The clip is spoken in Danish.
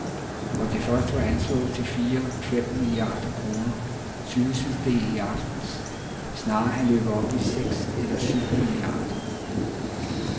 Hvor det først var anslået til fire ,fem milliarder kroner, syntes det i aftes snarere at løbe op i seks eller syv milliarder.